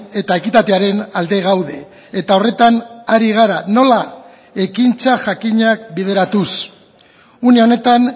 eta ekitatearen alde gaude eta horretan ari gara nola ekintza jakinak bideratuz une honetan